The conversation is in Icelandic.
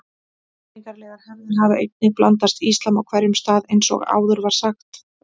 Menningarlegar hefðir hafa einnig blandast íslam á hverjum stað eins og áður var sagt.